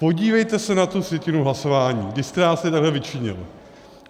Podívejte se na tu sjetinu hlasování, když jste nám tady takhle vyčinil.